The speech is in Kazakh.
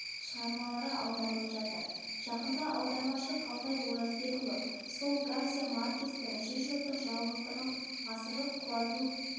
шғармалары аударылып жатыр жақында аудармашы қалтай оразбекұлы сол гарсия маркестің жүз жылдық жалғыздығын ғасырлық құлазу